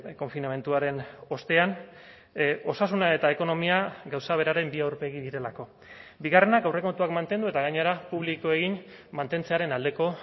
konfinamenduaren ostean osasuna eta ekonomia gauza beraren bi aurpegi direlako bigarrenak aurrekontuak mantendu eta gainera publiko egin mantentzearen aldeko